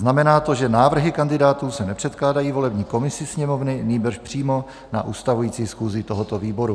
Znamená to, že návrhy kandidátů se nepředkládají volební komisi Sněmovny, nýbrž přímo na ustavující schůzi tohoto výboru.